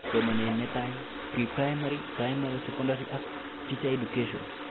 Somanet netai(Pre-primary, primary, secondary ak teacher education)